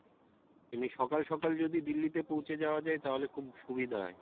এমনি সকাল সকাল যদি দিল্লিতে পৌঁছে যাওয়া যাই তাহলে খুব সুবিধা হয়।